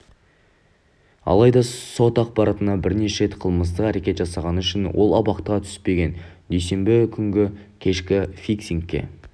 алайда сот ақпарынша бірнеше рет қылмыстық әрекет жасағаны үшін ол абақтыға түспеген дүйсенбі күнгі кешкі фиксингке